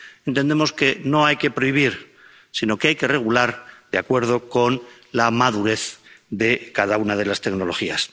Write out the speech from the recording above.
Entendemos que no hay que prohibir, sino que hay que regular de acuerdo con la madurez de cada una de las tecnologías.